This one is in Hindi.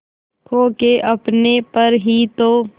खो के अपने पर ही तो